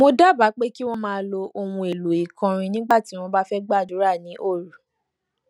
mo dábàá pé kí wón máa lo ohun èlò ìkọrin nígbà tí wón bá ń gbàdúrà ní òru